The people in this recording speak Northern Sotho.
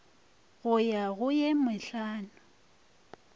go ya go ye mehlano